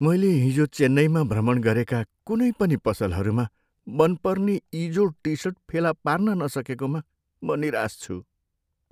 मैले हिजो चेन्नईमा भ्रमण गरेका कुनै पनि पसलहरूमा मनपर्ने इजोड टिसर्ट फेला पार्न नसकेकोमा म निराश छु।